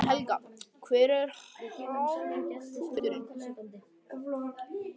Helga: Hver var hápunkturinn?